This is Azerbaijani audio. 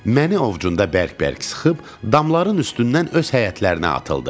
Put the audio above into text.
Məni ovcunda bərk-bərk sıxıb, damların üstündən öz həyətlərinə atıldı.